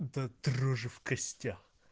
до дрожи в костях